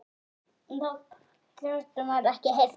Hann: Og hvað svo?